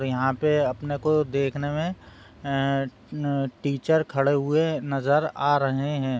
और यहां पे अपने को देखने में ऐं टीचर खड़े हुए नजर आ रहे हैं।